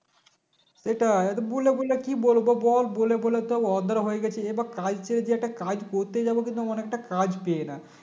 এটাই এটা বলে বলে কি বলবো বল বলে বলে তো অধরা হয়ে গেছি এবার কাজ ছেড়ে যে একটা কাজ করতে যাবো এমন একটা কাজ পাই না